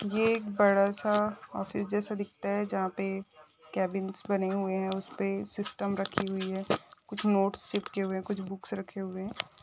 ये एक बड़ा सा ऑफिस जैसा दिखता है जहाँ पे केबिन्स बने हुए है उसपे सिस्टम रखी हुई है कुछ नोट्स रखे हुए है कुछ बुक्स रखी हुई है।